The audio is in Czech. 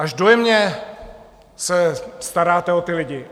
Až dojemně se staráte o ty lidi.